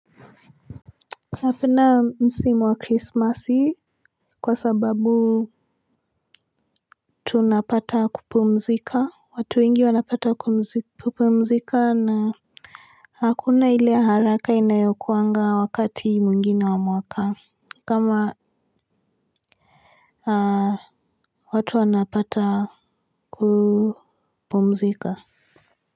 Napenda msimu wa Krismasi kwa sababu tunapata kupumzika watu wengi wanapata kupumzika na hakuna ile haraka inayokuwanga wakati mwingine wa mwaka kama watu wanapata kupumzika.